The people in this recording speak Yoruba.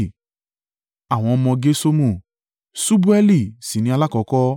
Àwọn ọmọ Gerṣomu: Ṣubaeli sì ni alákọ́kọ́.